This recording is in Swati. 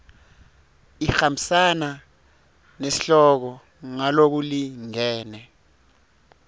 ihambisana nesihloko ngalokulingene